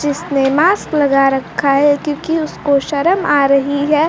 जिसने मास्क लगा रखा है क्योंकि उसको शर्म आ रही है।